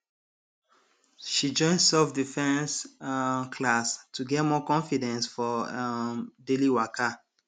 she join selfdefense um class to get more confidence for um daily waka